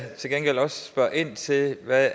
til gengæld også spørge ind til hvad